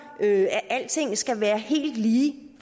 at alting skal være helt lige det